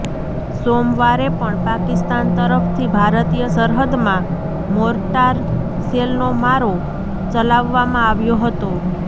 સોમવારે પણ પાકિસ્તાન તરફથી ભારતીય સરહદમાં મોર્ટાર શેલનો મારો ચલાવવામાં આવ્યો હતો